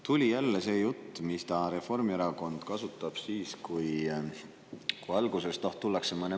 Tuli jälle see jutt, mida Reformierakond kasutab siis, kui tullakse mõne maksuga.